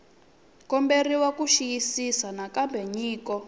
komberiwa ku xiyisisisa nakambe nyiko